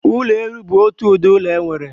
Ụlọ elu bu otu ụdịdị ụlọ enwere.